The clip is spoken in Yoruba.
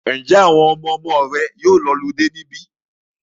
Ǹjẹ́ àwọn ọmọmọ rẹ yóò lọludé níbí?